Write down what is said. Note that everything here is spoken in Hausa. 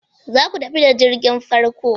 Za ku tafi da jirgin farko?